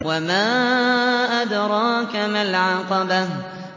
وَمَا أَدْرَاكَ مَا الْعَقَبَةُ